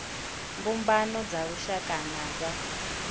mbumbano dza lushaka na dza